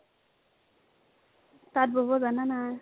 তাতঁ বব জানানা ?